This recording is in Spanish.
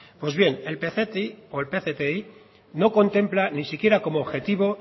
pues bien el pcti no contempla ni siquiera como objetivo